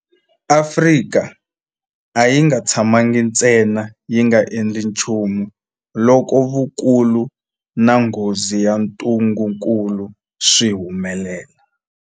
Afrika a yi nga tshamangi ntsena yi nga endli nchumu loko vukulu na nghozi ya ntungukulu swi humelela.